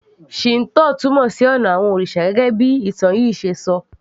Shinto túmọ̀ sí ònà àwon òrìsà gẹ́gẹ́ bí ìtàn yìí ṣe ṣọ